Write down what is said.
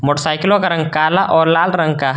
मोटरसाइकिलो का रंग काला और लाल रंग का है।